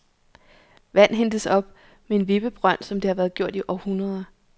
Vand hentes op med en vippebrønd, som det har været gjort i århundreder.